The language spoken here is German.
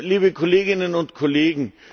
Liebe Kolleginnen und Kollegen!